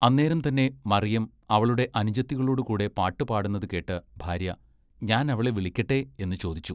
അന്നേരം തന്നെ മറിയം അവളുടെ അനുജത്തികളോടു കൂടെ പാട്ട് പാടുന്നത് കേട്ട് ഭാര്യ ഞാൻ അവളെ വിളിക്കട്ടേ എന്ന് ചോദിച്ചു.